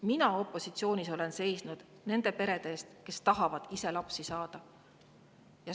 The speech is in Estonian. Mina opositsioonis olen seisnud nende perede eest, kes ise tahavad lapsi saada.